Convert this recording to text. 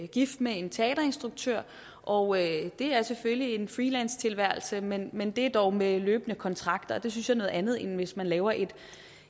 gift med en teaterinstruktør og det er selvfølgelig en freelancetilværelse men men det er dog med løbende kontrakter og det synes jeg er noget andet end hvis man laver et